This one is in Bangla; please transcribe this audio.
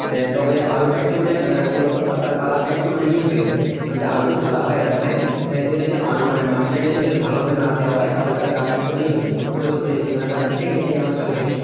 হ্যাঁ তবে আলুটা একটু মানে কি বলতো তার colour টা একটু নীল হয়ে যায় মানে আলু তো সাদা হয় এরকম সেহেতু যদি আল মানে মাটিটা যদি বেশ ভালোভাবে না দেওয়া হয়, তাহলে গা টা একটু নীল হয়ে যায়। এটাও শুনেছি বা দেখেছি আমার চোখে।